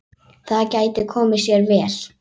Það gæti komið sér vel.